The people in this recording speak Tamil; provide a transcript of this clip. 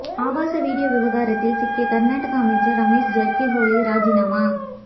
ஆபாச வீடியோ விவகாரத்தில் சிக்கிய கர்நாடக அமைச்சர் ரமேஷ் ஜர்கிஹோலி ராஜினாமா